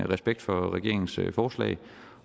respekt for regeringens forslag